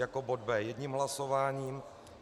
Jako bod B jedním hlasováním.